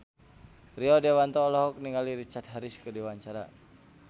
Rio Dewanto olohok ningali Richard Harris keur diwawancara